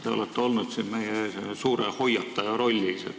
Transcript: Te olete olnud siin meie ees suure hoiataja rollis.